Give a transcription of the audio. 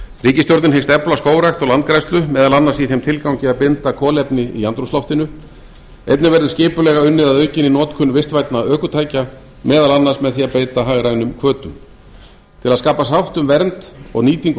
ríkisstjórnin hyggst efla skógrækt og landgræðslu meðal annars í þeim tilgangi að binda kolefni í andrúmsloftinu einnig verður skipulega unnið að aukinni notkun vistvænna ökutækja meðal annars með því að beita hagrænum hvötum til að skapa sátt um vernd og nýtingu